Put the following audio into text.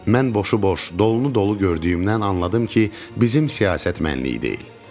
Mən boşu boş, dolunu dolu gördüyümdən anladım ki, bizim siyasət mənlik deyil.